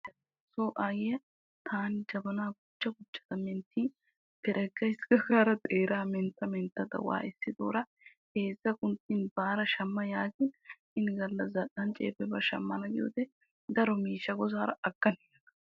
Nuuso aayiya taani jabana mentta mentta leellin shamma yaagin shamana gaada biyoode daro miishsha gidin agadda yaagas.